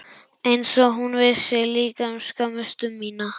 Einsog hún vissi líka um skömmustu mína.